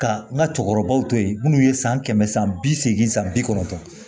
Ka n ka cɛkɔrɔbaw to ye minnu ye san kɛmɛ san bi seegin san bi kɔnɔntɔn